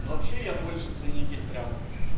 но вообще я больше ценитель прям